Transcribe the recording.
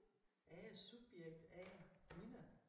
Jeg er subjekt A Nina